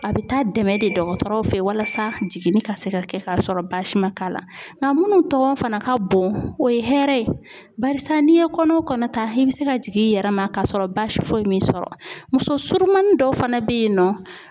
A bɛ taa dɛmɛ de dɔgɔtɔrɔw fɛ walasa jiginni ka se ka kɛ kasɔrɔ baasi ma k'a la. Ŋa munnu tɔgɔn fana ka bon o ye hɛrɛ ye barisa n'i ye kɔnɔ o kɔnɔ ta i be se ka jig'i yɛrɛ ma kasɔrɔ baasi foyi m'i sɔrɔ. Muso surumanin dɔw fana be yen nɔ